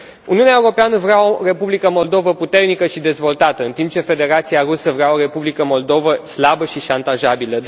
Uniunea Europeană vrea o Republică Moldova puternică și dezvoltată, în timp ce Federația Rusă vrea o Republică Moldova slabă și șantajabilă.